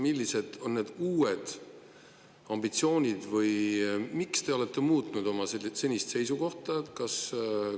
Millised on need uued ambitsioonid või miks te olete muutnud oma senist seisukohta?